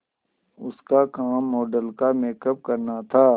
उसका काम मॉडल का मेकअप करना था